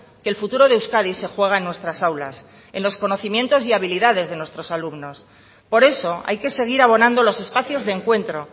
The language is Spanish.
que el futuro de euskadi se juega en nuestras aulas en los conocimientos y habilidades de nuestros alumnos por eso hay que seguir abonando los espacios de encuentro